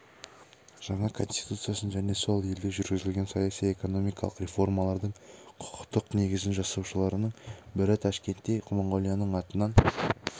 жаңа конституциясын және сол елде жүргізілген саяси-экономикалық реформалардың құқықтық негізін жасаушылардың бірі ташкентте монғолияның атынан